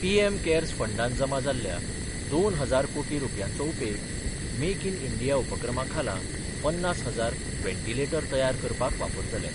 PM CARES फंडान जमा जाल्ल्या दोन हजार कोटी रुपयांचो उपेग मेक इन इंडिया उपक्रमा खाला पन्नास हजार वेंटिलेटर तयार करपाक वापरतले.